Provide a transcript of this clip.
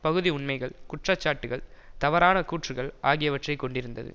பகுதிஉண்மைகள் குற்றச்சாட்டுக்கள் தவறான கூற்றுக்கள் ஆகியவற்றை கொண்டிருந்தது